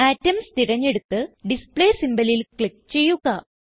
atoms തിരഞ്ഞെടുത്ത് display symbolലിൽ click ചെയ്യുക